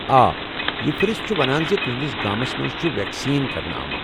آ، یہ فہرِست چھٗ ونان ز تہنٛدِس گامَس چھ ویکسیٖن کرنہٕ آمُت ۔